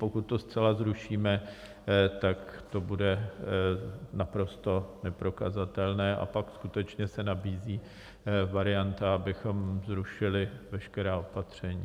Pokud to zcela zrušíme, tak to bude naprosto neprokazatelné a pak skutečně se nabízí varianta, abychom zrušili veškerá opatření.